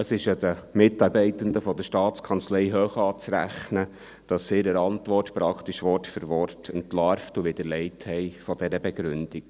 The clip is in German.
Es ist den Mitarbeitenden der Staatskanzlei hoch anzurechnen, dass sie in ihrer Antwort diese Begründung praktisch Wort für Wort entlarvt und widerlegt haben.